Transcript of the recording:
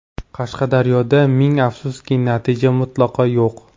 Qashqadaryoda, ming afsuski, natija mutlaqo yo‘q.